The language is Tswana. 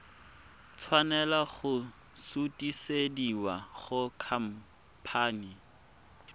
tshwanela go sutisediwa go khamphane